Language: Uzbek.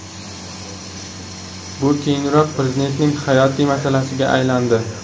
Bu keyinroq Prezidentning hayotiy maslagiga aylandi.